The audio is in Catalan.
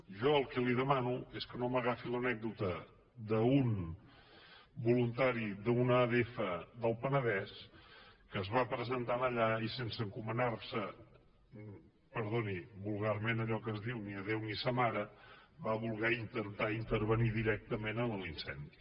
jo el que li demano és que no m’agafi l’anècdota d’un voluntari d’una adf del penedès que es va presentar allà i sense encomanar se perdoni vulgarment a allò que es diu ni a déu ni a sa mare va voler intentar intervenir directament en l’incendi